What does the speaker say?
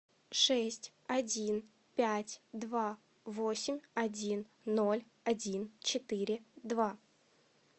шесть один пять два восемь один ноль один четыре два